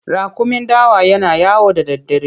Raƙumin dawa yana yawo da daddare.